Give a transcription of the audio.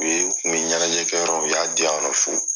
n tun bɛ ɲɛnajɛ kɛ yɔrɔ u y'a di yan nɔ fu.